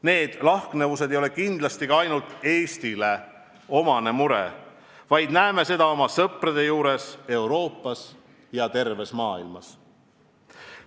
Need lahknevused ei ole kindlasti ainult Eestile omane mure, vaid näeme seda oma sõprade juures Euroopas ja terves maailmas.